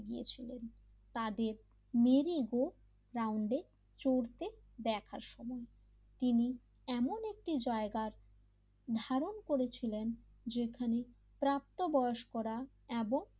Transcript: বানিয়ে ছিলেন তাদের মেরিগো রাউন্ডে চড়তে দেখার সময় তিনি এমন একটি জায়গা ধারণ করেছিলেন যেখানে প্রাপ্তবয়স্করা এবং,